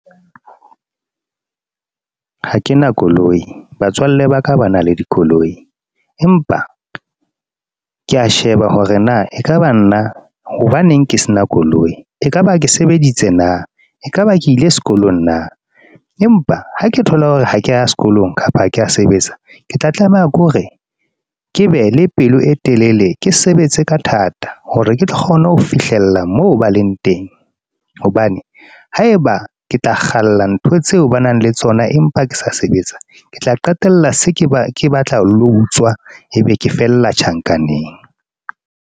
Ha ke na koloi, batswalle ba ka ba na le dikoloi empa ke a sheba hore na e ka ba nna, hobaneng ke se na koloi e ka ba ke sebeditse na? E ka ba ke ile sekolong na? Empa ha ke thola hore ha ke a ya sekolong kapa ha ke a sebetsa, ke tla tlameha ke hore ke be le pelo e telele ke sebetse ka thata hore ke tlo kgona ho fihlella moo ba leng teng, hobane haeba ke tla kgalla ntho tseo ba nang le tsona, empa ke sa sebetsa, ke tla qetella se ke ba ke batla lo hutswa e be ke fella tjhankaneng.